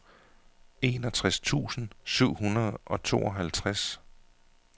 enogtres tusind syv hundrede og tooghalvtreds